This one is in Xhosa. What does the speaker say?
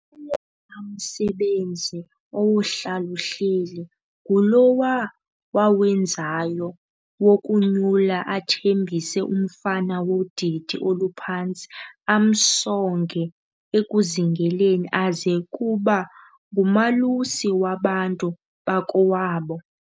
Owona msebenzi owohlal'uhleli, ngulowa wawenzayo, wokunyula athambise umfana wodidi oluphantsi, amsonge ekuzingeleni aze kuba ngumalusi wabantu bakowabo.